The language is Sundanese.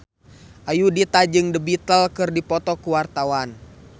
Ayudhita jeung The Beatles keur dipoto ku wartawan